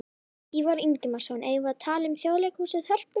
Ívar Ingimarsson: Eigum við að tala um Þjóðleikhúsið, Hörpu?